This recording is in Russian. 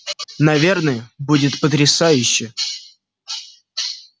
наверное будет потрясающе